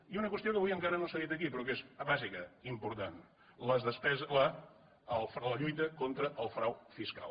i una qüestió que avui encara no s’ha dit aquí però que és bàsica important la lluita contra el frau fiscal